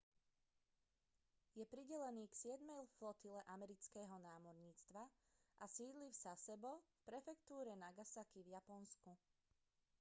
je pridelený k siedmej flotile amerického námorníctva a sídli v sasebo v prefektúre nagasaki v japonsku